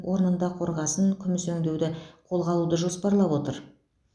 орнында қорғасын күміс өңдеуді қолға алуды жоспарлап отыр